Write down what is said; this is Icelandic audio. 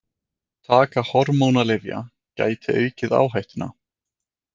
Taka hormónalyfja gæti aukið áhættuna.